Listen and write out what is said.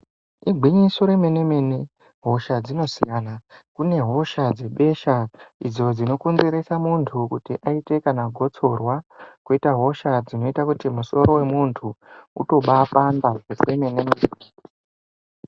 Igwinyiso remene-mene, hosha dzinosiyana. Kune hosha dzebesha, idzo dzinokonzeresa muntu kuti aite kana gotsorwa. Koita hosha dzinoita kuti musoro wemuntu utobapanda kwemene-mene.